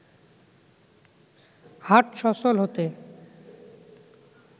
হাট সচল হতে